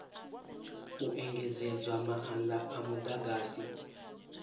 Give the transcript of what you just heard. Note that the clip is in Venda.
u engedzedzwa maanda a mudagasi